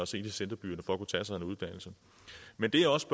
til centerbyerne for at kunne tage sig en uddannelse men det jeg også